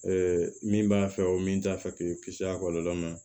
min b'a fɛ o min t'a fɛ k'i kisi a kɔlɔlɔ ma